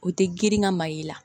O tɛ girin ka mayiga la